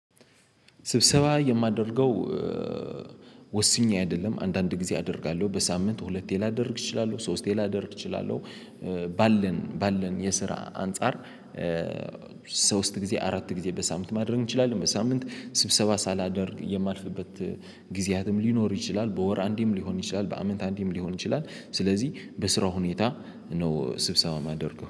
ስብሰባ የማደርገው ወስኜ አይደለም አንዳንድ ጊዜ አደርጋለሁ በሳምንት ሁለቴ ላደርግ እችላለሁ ሶስቴ ላደርግ እችላለሁ። ባለን ባለን የስራ አንፃር። ሶስት ጊዜ አራት ጊዜ በሳምንት ማድረግ እንችላለን። በሳምንት ስብሰባ ሳላደርግ የማልፍበት ጊዜያትም ሊኖር ይችላል። በወር አንዴም ሊሆን ይችላል። በአመት አንዴም ሊሆን ይችላል። ስለዚህ በስራው ሁኔታ ነው ስብሰባ የማደርገው